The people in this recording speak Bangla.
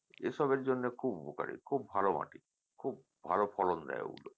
এসবের জন্যে খুব উপকারি খুব ভালো মাটি খুব ভালো ফলন দেয় ওগুলো